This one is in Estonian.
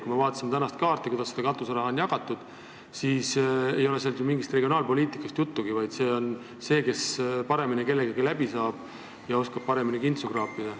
Kui me vaatame tänast kaarti ja seda, kuidas katuseraha jagatud on, siis ei ole ju mingist regionaalpoliitikast juttugi – see on olenenud sellest, kes kellega paremini läbi saab ja paremini kintsu kaapida oskab.